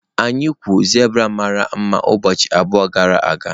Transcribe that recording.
Anyị na-ekwu zebra mara mma ụbọchị abụọ gara aga.